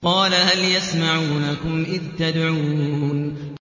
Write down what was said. قَالَ هَلْ يَسْمَعُونَكُمْ إِذْ تَدْعُونَ